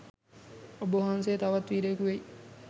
ඔබවහන්සෙ තවත් වීරයෙකු වෙයි